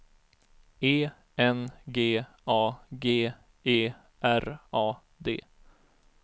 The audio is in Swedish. E N G A G E R A D